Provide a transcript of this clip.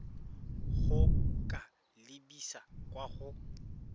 go ka lebisa kwa go